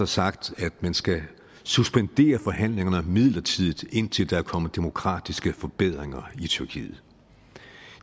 sagt at man skal suspendere forhandlingerne midlertidigt indtil der er kommet demokratiske forbedringer i tyrkiet